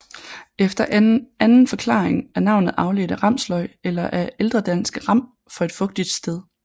Efter en anden forklaring er navnet afledt af ramsløg eller af ældredansk ram for et fugtigt sted